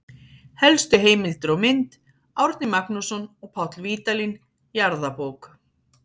Helstu heimildir og mynd: Árni Magnússon og Páll Vídalín, Jarðabók.